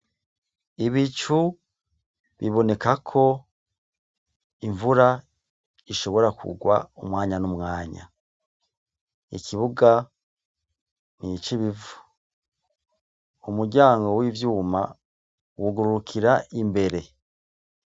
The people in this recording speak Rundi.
Ibicu biboneka ko imvura ishobora kurwa umwanya numwanya. ikibuga nicibivu, umuryango wivyuma wugurukira imbere.